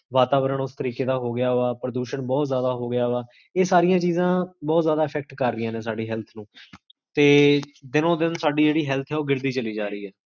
ਵਾਤਾਵਰਣ ਓਸ ਤਰੀਕੇ ਦਾ ਹੋਗਿਆ ਵਾ, ਪ੍ਰਦੂਸ਼ਣ ਬੋਹੋਤ ਜਾਦਾ ਹੋਗਿਆ ਵਾ ਇਹ ਸਾਰੀਆਂ ਚੀਜਾਂ ਬੋਹੋਤ ਜਾਦਾ effect ਕਰ ਰਹੀਆਂ ਨੇ ਸਾਡੀ health ਨੂੰ, ਤੇ ਦਿਨੋ ਦਿਨ ਸਾਡੀ ਜੇਹੜੀ health ਹੈ, ਓਹ ਗਿਰਦੀ ਚਲੀ ਜਾ ਰਹੀ ਹੈ